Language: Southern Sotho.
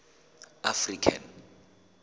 african